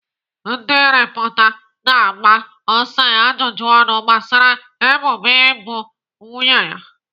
Ndị rịpọta na-agba Osai ajụjụ ọnụ gbasara ebubo igbu nwunye ya.